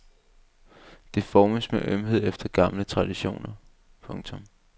Det formes med ømhed efter gamle traditioner. punktum